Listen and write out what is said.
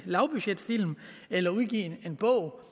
lavbudgetfilm eller udgive en bog